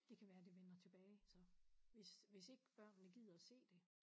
Det kan være det vender tilbage så hvis hvis ikke børnene gider at se det